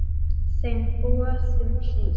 Þeim boðum hlýtt.